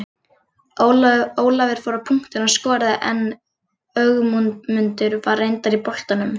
Ólafur fór á punktinn og skoraði en Ögmundur var reyndar í boltanum.